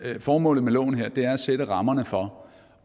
formålet med loven her er at sætte rammerne for